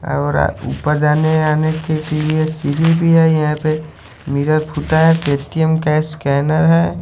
और ऊपर जाने-आने के लिए सीढ़ी भी है यहां पे। मिरर फूटा है। पेटीएम कैश स्कैनर है।